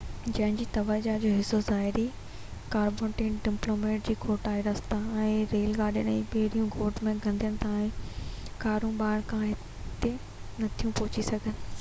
هن جي توجہ جو حصو ظاهري ڪارپوريٽ ڊولپمينٽ جي کوٽ آهي رستا ريل گاڏيون ۽ ٻيڙيون ڳوٺ کي ڳنڍين ٿا ۽ ڪارون ٻاهر کان هتي نٿيون پهچي سگهن